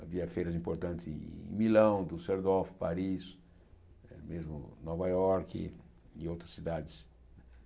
Havia feiras importantes em Milão, em Düsseldorf, Paris, mesmo em Nova Iorque e em outras cidades